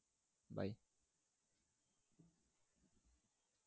by